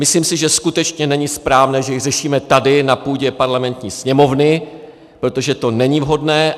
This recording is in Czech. Myslím si, že skutečně není správné, že ji řešíme tady na půdě parlamentní Sněmovny, protože to není vhodné.